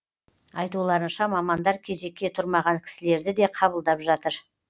айтуларынша мамандар кезекке тұрмаған кісілерді де қабылдап жатыр